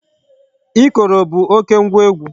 Ikoro bụ oké ngwa egwu.